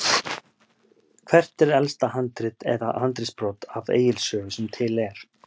Hvert er elsta handrit eða handritsbrot af Egils sögu sem til er?